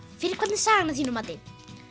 fyrir hvern er sagan að þínu mati